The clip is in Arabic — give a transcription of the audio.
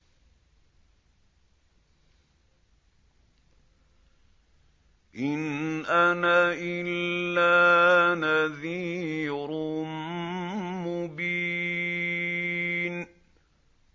إِنْ أَنَا إِلَّا نَذِيرٌ مُّبِينٌ